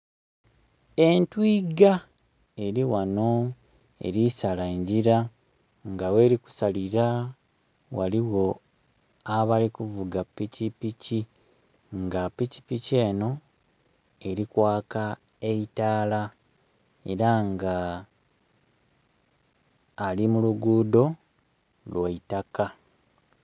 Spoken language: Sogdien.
Entwiga eli ghano elisala engira nga gheri kusalira ghaligho abali kuvuga pikipiki nga pikipiki eno elikwaka eitaala era nga ali mu lugudho lwaitaka.